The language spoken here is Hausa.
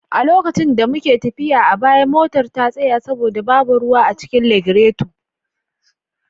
A lokacin da muke tafiya a baya, motar ta tsaya saboda babu ruwa a cikin lagireto.